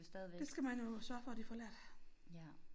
Det skal man jo sørge for at de får lært